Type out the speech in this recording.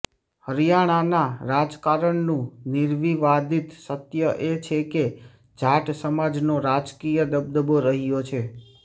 હરિયાણાના રાજકારણનું નિર્વિવાદિત સત્ય એ છે કે જાટ સમાજનો રાજકીય દબદબો રહ્યો છે